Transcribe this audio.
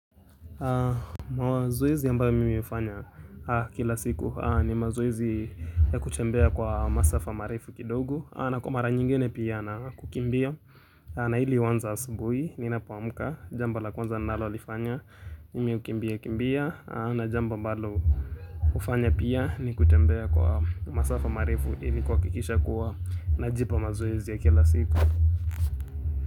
Mazoezi ambayo mimi hufanya kila siku ni mazoezi ya kutembea kwa masafa marefu kidogo. Na kwa mara nyingine pia na kukimbia na hili huanza asubuhi ninapoamka Jambo la kwanza ninalolifanya mimi hukimbia kimbia na jambo ambalo kufanya pia ni kutembea kwa masafa marefu ili kuhakikisha kuwa najipa mazoezi ya kila siku.